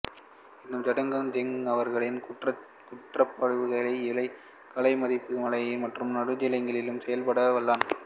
எனினும் ஜின்டாங் ஜங் அவர்களின் கூற்றுப்படிஇவை காலை மதியம்மாலை மற்றும் நடுநிசியிலும் செயல்பட வல்லவை